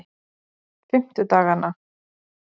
fimmtudaganna